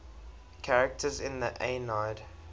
characters in the aeneid